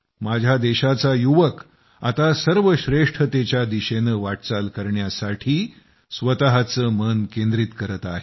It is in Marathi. माझ्या देशाचा युवक आता सर्वश्रेष्ठतेच्या दिशेनं वाटचाल करण्यासाठी स्वतःचं मन केंद्रीत करत आहे